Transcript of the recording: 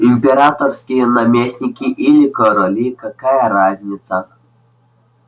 императорские наместники или короли какая разница